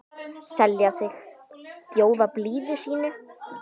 selja sig, bjóða blíðu sínu